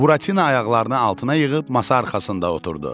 Buratino ayaqlarını altına yığıb masa arxasında oturdu.